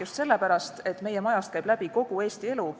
Just sellepärast, et meie majast käib läbi kogu Eesti elu.